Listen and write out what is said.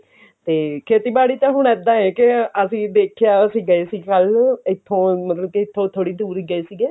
ਤੇ ਖੇਤੀਬਾੜੀ ਤਾਂ ਹੁਣ ਇਦਾਂ ਹੈ ਅਸੀਂ ਦੇਖਿਆ ਅਸੀਂ ਗਾ ਸੀ ਕੱਲ ਇੱਥੋਂ ਮਤਲਬ ਕਿ ਇੱਥੋਂ ਥੋੜੀ ਦੁਰ ਹੀ ਗਏ ਸੀਗੇ